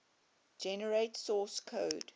generate source code